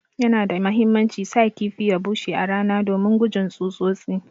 Yana da muhimmanci sa kifi ya bushe a rana domin gujin tsutsotsi.